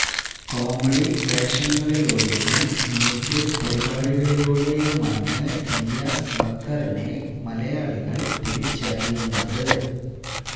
comedy വേഷങ്ങളിലൂടെയും mimicry പരിപാടികളിലൂടെയുമാണ് നിയാസ് ബക്കറിനെ മലയാളികള് തിരിച്ചറിയുന്നത്